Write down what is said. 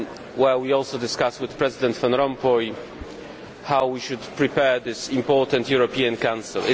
where we also discussed with President Van Rompuy how we should prepare this important European Council.